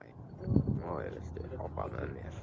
Móey, viltu hoppa með mér?